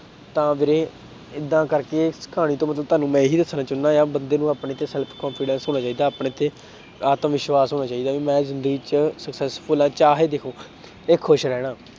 ਤਾਂ ਵੀਰੇ ਏਦਾਂ ਕਰਕੇ ਕਹਾਣੀ ਤੋਂ ਤੁਹਾਨੂੰ ਮੈਂ ਇਹੀ ਦੱਸਣਾ ਚਾਹੁਨਾ ਆਂ ਬੰਦੇ ਨੂੰ ਆਪਣੇ ਤੇ self confidence ਹੋਣਾ ਚਾਹੀਦਾ ਆਪਣੇ ਤੇ ਆਤਮਵਿਸ਼ਵਾਸ ਹੋਣਾ ਚਾਹੀਦਾ ਵੀ ਮੈਂ ਜ਼ਿੰਦਗੀ successful ਆਂ ਚਾਹੇ ਦੇਖੋ ਤੇ ਖ਼ੁਸ਼ ਰਹਿਣਾ